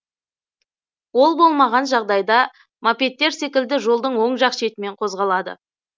ол болмаған жағдайда мопедтер секілді жолдың оң жақ шетімен қозғалады